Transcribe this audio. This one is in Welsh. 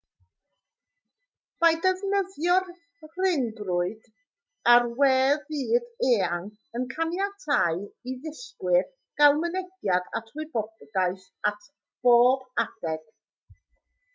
mae defnyddio'r rhyngrwyd a'r we fyd-eang yn caniatáu i ddysgwyr gael mynediad at wybodaeth ar bob adeg